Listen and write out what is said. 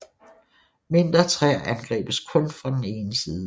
Mindre træer angribes kun fra den ene side